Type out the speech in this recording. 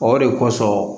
O de kosɔn